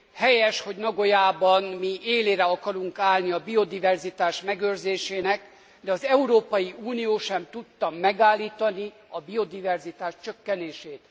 Helyes, hogy Nagojában mi élére akarunk állni a biodiverzitás megőrzésének, de az Európai Unió sem tudta megállítani a biodiverzitás csökkenését.